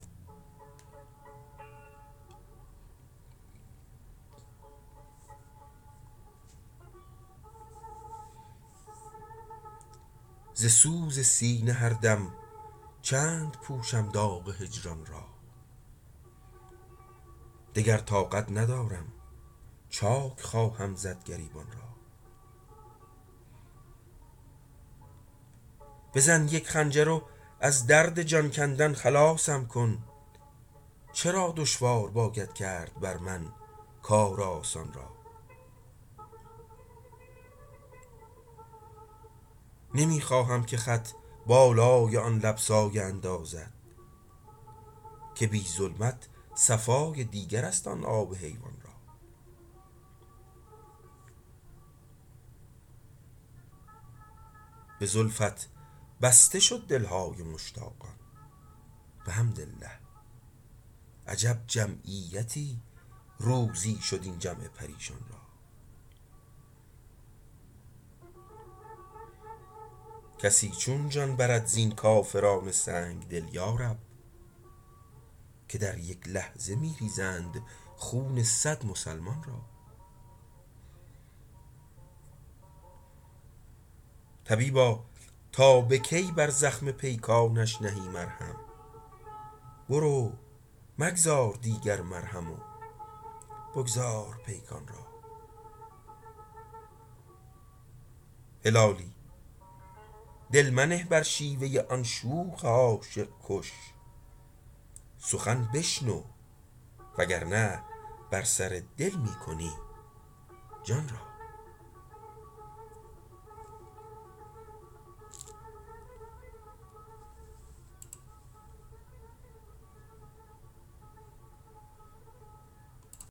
ز سوز سینه هر دم چند پوشم داغ هجران را دگر طاقت ندارم چاک خواهم زد گریبان را بزن یک خنجر و از درد جان کندن خلاصم کن چرا دشوار باید کرد بر من کار آسان را نمی خواهم که خط بالای آن لب سایه اندازد که بی ظلمت صفای دیگرست آن آب حیوان را بزلفت بسته شد دلهای مشتاقان بحمدالله عجب جمعیتی روزی شد این جمع پریشان را کسی چون جان برد زین کافران سنگدل یارب که در یک لحظه میریزند خون صد مسلمان را طبیبا تا بکی بر زخم پیکانش نهی مرهم برو مگذار دیگر مرهم و بگذار پیکان را هلالی دل منه بر شیوه آن شوخ عاشق کش سخن بشنو و گرنه بر سر دل می کنی جان را